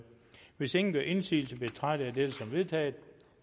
hvis ingen gør indsigelse betragter jeg dette som vedtaget